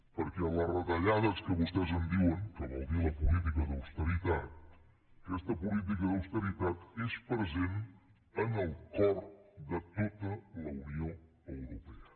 perquè les retallades que vostès en diuen que vol dir la política d’austeritat aquesta política d’austeritat és present en el cor de tota la unió europea